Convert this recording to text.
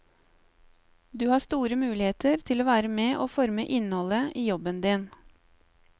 Du har store muligheter til å være med å forme innholdet i jobben din.